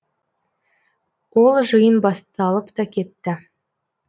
ол жиын басталып та кетті